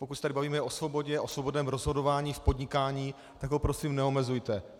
Pokud se tady bavíme o svobodě a svobodném rozhodování v podnikání, tak ho prosím neomezujte.